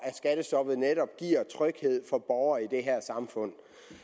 skattestoppet netop giver tryghed for borgerne i det her samfund